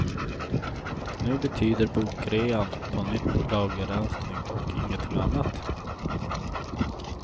Nu betyder bokrean på nytt lagerrensning och ingenting annat.